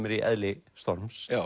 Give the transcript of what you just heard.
er í eðli storms